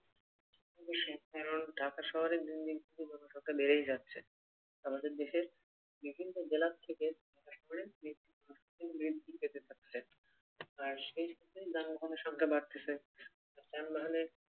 অবশ্যই কারন ঢাকা শহরেই দিন দিন জনসংখ্যা বেড়েই যাচ্ছে। আমাদের দেশের বিভিন্ন জেলা থেকে ঢাকা শহরে বৃদ্ধি পেতে থাকছে আর সেই তুলনাই যানবহনের সংখ্যা বাড়তেছে, যানবাহনের